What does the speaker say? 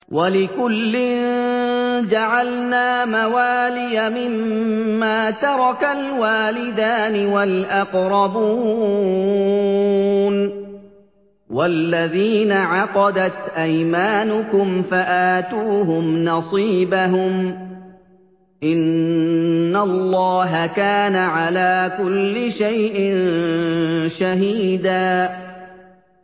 وَلِكُلٍّ جَعَلْنَا مَوَالِيَ مِمَّا تَرَكَ الْوَالِدَانِ وَالْأَقْرَبُونَ ۚ وَالَّذِينَ عَقَدَتْ أَيْمَانُكُمْ فَآتُوهُمْ نَصِيبَهُمْ ۚ إِنَّ اللَّهَ كَانَ عَلَىٰ كُلِّ شَيْءٍ شَهِيدًا